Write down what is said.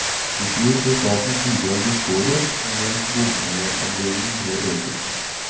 I fjor ble statens bidrag beskåret, mens bompengeandelen ble øket.